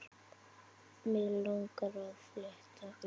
Mig langar að fletta upp.